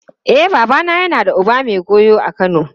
E, babana yana da uba mai goyo a Kano.